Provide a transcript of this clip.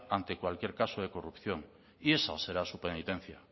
ante cualquier caso de corrupción y esa será su penitencia